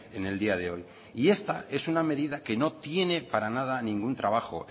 en el día de hoy y esta es una medida que no tiene para nada ningún trabajo